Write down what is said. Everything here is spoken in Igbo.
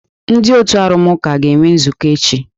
Ndị otu arụmụka ga-enwe nzukọ echi.